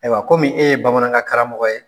Ayiwa komi e ye bamanankan karamɔgɔ ye.